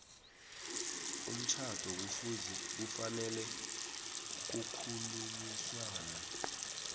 umtjhado kufanele kukhulunyiswane